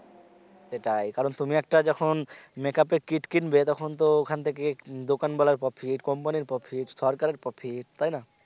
সেটাই কারন তুমি একটা যখন make up কিট কিনবে তখন তো ওখান থেকে দোকানওয়ালার profit company এর profit সরকারের profit তাইনা